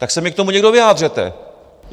Tak se mi k tomu někdo vyjádřete!